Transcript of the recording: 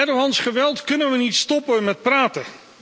Erdoğans geweld kunnen we niet stoppen met praten.